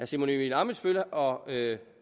simon emil ammitzbøll og herre